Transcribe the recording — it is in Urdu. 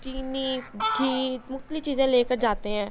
چحععنی گحعع مءکحتالیف چحعزاے لعکع جاتع حای۔.